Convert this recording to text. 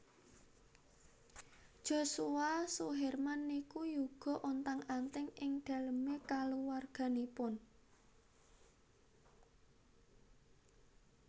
Joshua Suherman niku yuga ontang anting ing dalem e kaluwarganipun